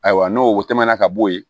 Ayiwa n'o wo tɛmɛna ka bo yen